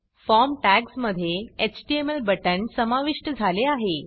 form टॅग्जमधे HTML बटण समाविष्ट झाले आहे